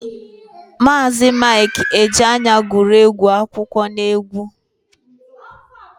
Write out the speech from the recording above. Maazi Mik Ejeaya guru egwu akụkọ n'egwu.